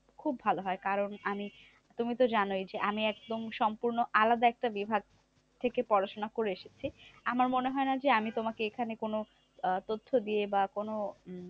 খুব ভালো হয়। কারণ আমি তুমি তো জানোই যে, আমি একদম সম্পূর্ণ আলাদা একটা বিভাগ থেকে পড়াশোনা করে এসেছি। আমার মনে হয় না যে, আমি তোমাকে এখানে কোনো তথ্য দিয়ে বা কোনো উম